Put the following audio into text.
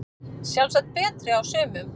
Sjálfsagt betri á sumum